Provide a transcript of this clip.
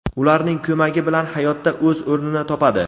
ularning ko‘magi bilan hayotda o‘z o‘rnini topadi.